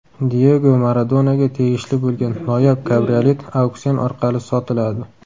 Diyego Maradonaga tegishli bo‘lgan noyob kabriolet auksion orqali sotiladi .